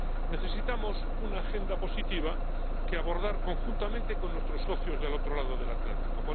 Necesitamos una agenda positiva que abordar conjuntamente con nuestros socios del otro lado del Atlántico.